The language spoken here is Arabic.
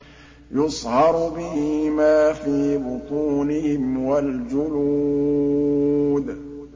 يُصْهَرُ بِهِ مَا فِي بُطُونِهِمْ وَالْجُلُودُ